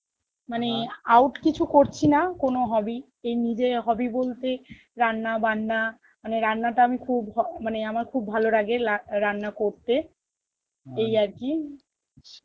মানে out কিছু করছি না কোনো hobby এই নিজের hobby বলতে রান্না, বান্না মানে রান্না টা আমি খুব হ~ মানে আমার খুব ভালোরাগে লা~ রান্না করতে আরকি